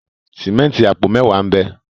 Sìmẹ́ǹtì apo mẹwa n'be.